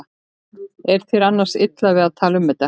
Er þér annars illa við að tala um þetta?